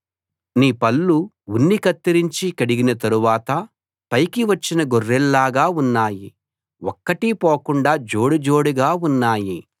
నీ పళ్ళు ఉన్ని కత్తిరించి కడిగిన తరువాత పైకి వచ్చిన గొర్రెల్లాగా ఉన్నాయి ఒక్కటీ పోకుండా జోడుజోడుగా ఉన్నాయి